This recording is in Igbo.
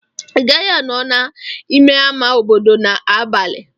Ị gaghị anọ n'ime ama obodo n'abalị.